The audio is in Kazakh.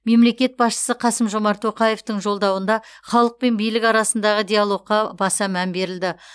мемлекет басшысы қасым жомарт тоқаевтың жолдауында халық пен билік арасындағы диалогқа баса мән берілді